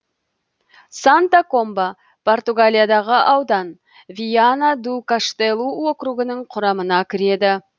санта комба португалиядағы аудан виана ду каштелу округінің құрамына кіреді